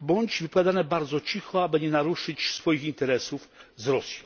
bądź wypowiadane bardzo cicho, aby nie naruszyć swoich interesów z Rosją.